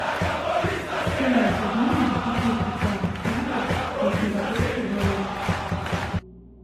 стоимость обмена десяти швейцарских франков на сингапурские доллары